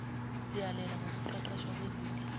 siyalela ngokuqeqeshwa kwezinhla